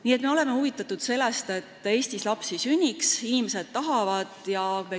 Nii et me oleme huvitatud sellest, et Eestis lapsi sünniks, ning inimesed tahavad lapsi.